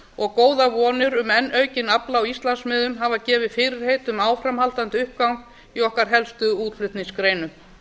og góðar vonir um enn aukinn afla á íslandsmiðum hafa gefið fyrirheit um áframhaldandi uppgang í okkar helstu útflutningsgreinum